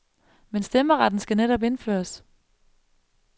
Men stemmeretten skal netop indføres.